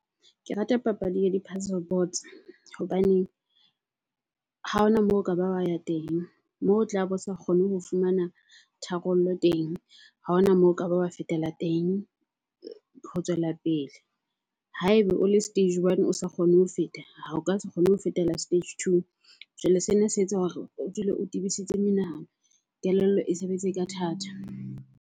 Ke rata papadi ya di-puzzle boards hobaneng ha hona moo ho ka ba wa ya teng moo o tlabo o sa kgone ho fumana tharollo teng. Ha hona moo ho ka ba wa fetela teng ho tswela pele. Ha ebe o le stage one o sa kgone ho feta, o ka se kgone ho fetela stage two. Jwale sena se etsa hore o dule o tebisitse menahano, kelello e sebetse ka thata.